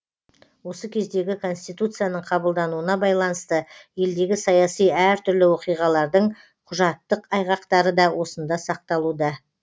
осы кездегі конституцияның қабылдануына байланысты елдегі саяси әртүрлі оқиғалардың құжаттық айғақтары да осында сақталуда